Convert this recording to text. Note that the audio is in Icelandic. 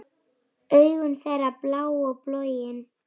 Augu þeirra blá og bólgin.